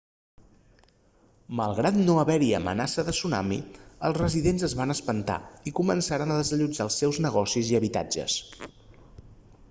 malgrat no haver-hi amenaça de tsunami els residents es van espantar i començaren a desallotjar els seus negocis i habitatges